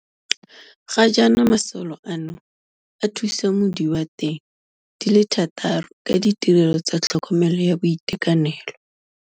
Ga jaana masole ano a thusa mo diwa teng di le thataro ka ditirelo tsa tlhokomelo ya boitekanelo.